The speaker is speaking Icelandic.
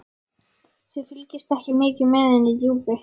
Þið fylgist ekki mikið með inni í Djúpi.